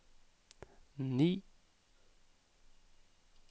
ni